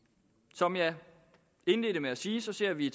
som jeg indledte med at sige ser vi